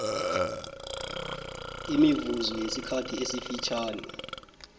imivuzo yesikhathi esifitjhani